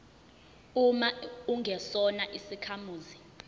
uma ungesona isakhamuzi